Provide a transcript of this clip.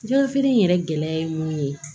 Jɛgɛfeere in yɛrɛ gɛlɛya ye mun ye